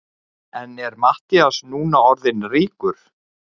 En er Matthías núna orðinn ríkur?